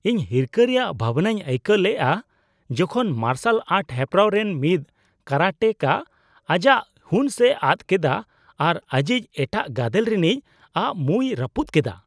ᱤᱧ ᱦᱤᱨᱠᱟᱹ ᱨᱮᱭᱟᱜ ᱵᱷᱟᱣᱱᱟᱧ ᱟᱹᱭᱠᱟᱹᱣ ᱞᱮᱜᱼᱟ ᱡᱚᱠᱷᱚᱱ ᱢᱟᱨᱥᱟᱞ ᱟᱨᱴ ᱦᱮᱯᱨᱟᱣ ᱨᱮᱱ ᱢᱤᱫ ᱠᱟᱨᱟᱴᱮᱠᱟ ᱟᱡᱟᱜ ᱦᱩᱸᱥᱼᱮᱟᱫ ᱠᱮᱫᱟ ᱟᱨ ᱟᱹᱡᱤᱡ ᱮᱴᱟᱜ ᱜᱟᱫᱮᱞ ᱨᱤᱱᱤᱡᱼᱟᱜ ᱢᱩᱭ ᱨᱟᱹᱯᱩᱫ ᱠᱮᱫᱟ ᱾